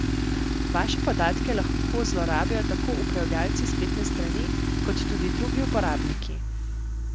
Vaše podatke lahko zlorabijo tako upravljavci spletne strani, kot tudi drugi uporabniki.